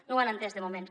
no ho han entès de moment